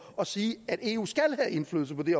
at sige at eu skal have indflydelse på det